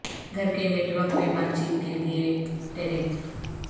گھر کے network میں بات چیت کے لئے ٹیرف